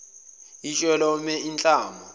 itshe lome inhlama